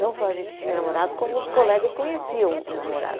Não só a gente tinha namorado, como os colegas conheciam o namorado.